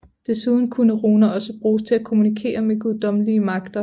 Desuden kunne runer også bruges til at kommunikere med guddommelige magter